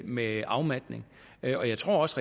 med afmatning og jeg tror også